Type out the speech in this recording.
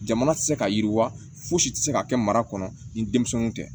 Jamana tɛ se ka yiriwa fosi tɛ se ka kɛ mara kɔnɔ ni denmisɛnninw tɛ